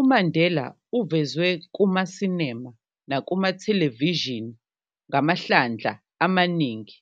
UMandela uvezwe kumasinema nakumathelevishini ngamahlandla amaningi.